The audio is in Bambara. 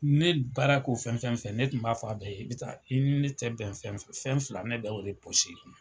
Ne ye baara k'u fɛn fɛn ,ne tun b'a fɔ a bɛɛ ye i bi taa i ne tɛ bɛn fɛn fɛn, fɛn fila ne tun b'o de